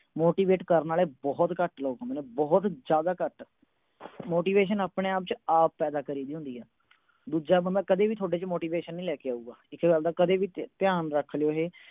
motivate ਕਰਨ ਵਾਲੇ ਬਹੁਤ ਘੱਟ ਲੋਕ ਹੁੰਦੇ ਨੇ, ਬਹੁਤ ਜਿਆਦਾ ਘੱਟ। motivation ਆਪਣੇ-ਆਪ ਚ ਆਪ ਪੈਦਾ ਕਰੀ ਦੀ ਹੁੰਦੀ। ਦੂਜਾ ਬੰਦਾ ਕਦੇ ਵੀ ਤੁਹਾਡੇ ਚ motivation ਨਹੀਂ ਪੈਦਾ ਕਰ ਸਕਦਾ, ਇਸ ਗੱਲ ਦਾ ਧਿਆਨ ਰੱਖ ਲਿਓ।